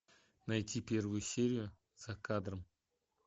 найти первую серию за кадром